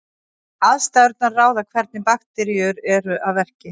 Aðstæðurnar ráða hvernig bakteríur eru að verki.